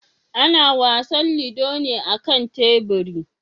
Ana wasan ludo ne a kan teburi.